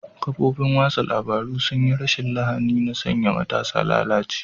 Kafofin watsa labarun sun yi rashin lahani na sanya matasa malalaci.